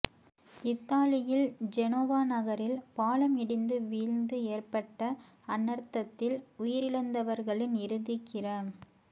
இத்தாலியின் ஜெனோவா நகரில் பாலம் இடிந்து வீழ்ந்து ஏற்பட்ட அனர்த்தத்தில் உயிரிழந்தவர்களின் இறுதிக் கிர